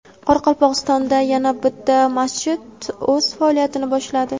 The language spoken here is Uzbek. Qoraqalpog‘istonda yana bitta masjid o‘z faoliyatini boshladi.